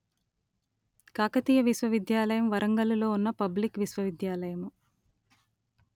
కాకతీయ విశ్వవిద్యాలయము వరంగల్ ‌లో ఉన్న పబ్లిక్ విశ్వవిద్యాలయము